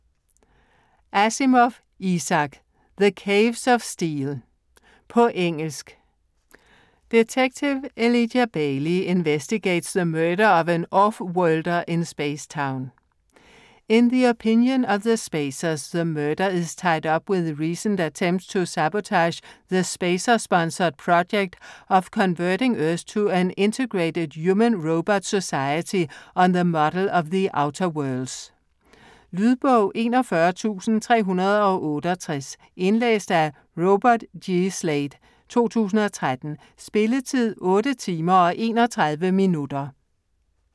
Asimov, Isaac: The caves of steel På engelsk. Detective Elijah Baley investigates the murder of an offworlder in Spacetown. In the opinion of the Spacers, the murder is tied up with recent attempts to sabotage the Spacer-sponsored project of converting Earth to an integrated human/robot society on the model of the Outer Worlds. Lydbog 41368 Indlæst af Robert G. Slade, 2013. Spilletid: 8 timer, 31 minutter.